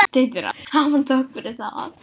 Hafi hann þökk fyrir það.